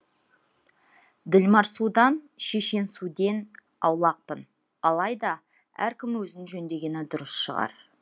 ділмарсудан шешенсуден аулақпын алайда әркім өзін жөндегені дұрыс шығар